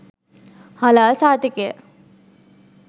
හලාල් සහතිකය